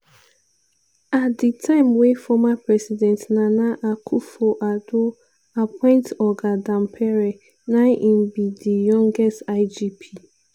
at di time wey former president nana akufo-addo appoint oga dampare na im be di youngest igp.